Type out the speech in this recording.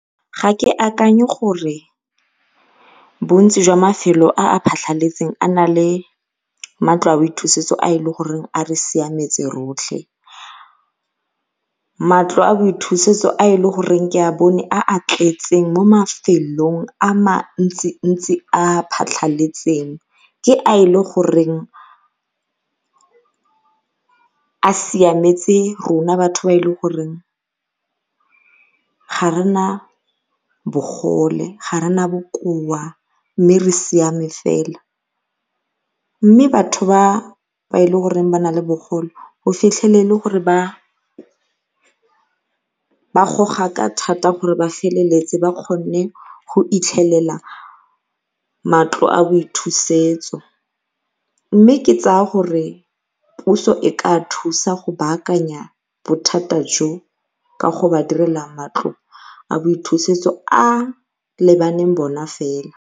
Ga ke akanye gore bontsi jwa mafelo a a phatlhaletse a na le matlo a boithusetso a e le gore a re siametse rotlhe. Matlo a boithusetso a e le goreng ke a bone a a tletseng mo mafelong a mantsintsi a a phatlhaletseng ke a e le goreng a siametse rona batho ba e le goreng ga re na bogole ga re na bokoa mme re siame fela. Mme batho ba e le goreng ba na le bogole o fitlhele e le gore ba ba goga ka thata gore ba feleletse ba kgonne go fitlhelelwa matlo a boithusetso mme ke tsaya gore puso e ka thuso go baakanya bothata jo ka go ba direla matlo a boithusetso a a lebaganeng bona fela.